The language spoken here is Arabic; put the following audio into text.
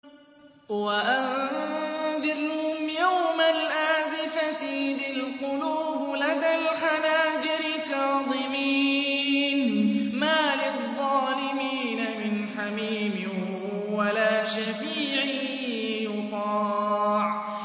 وَأَنذِرْهُمْ يَوْمَ الْآزِفَةِ إِذِ الْقُلُوبُ لَدَى الْحَنَاجِرِ كَاظِمِينَ ۚ مَا لِلظَّالِمِينَ مِنْ حَمِيمٍ وَلَا شَفِيعٍ يُطَاعُ